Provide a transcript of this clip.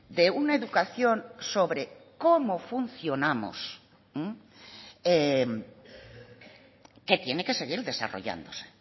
de una educación sobre cómo funcionamos que tiene que seguir desarrollándose